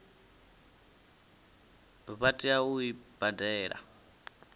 vha tea u i badela